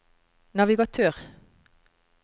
navigatør